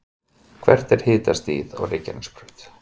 hvert er hitastigið á reykjanesbraut